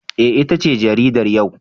Eh, itace jaridar yau.